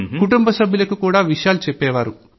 కుటుంబ సభ్యులకు కూడా విషయాలు చెప్పేవారు